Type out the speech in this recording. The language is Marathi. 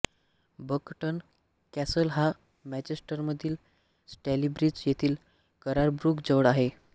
बकटन कॅसल हा मॅंचेस्टरमधील स्टॅलीब्रिज येथील कररब्रुक जवळ आहे